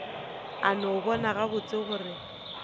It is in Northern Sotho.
a no bona gabotse gore